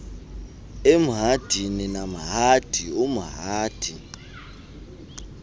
emhadini namhadi umhadi